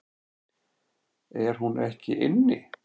Er hún ekki inni?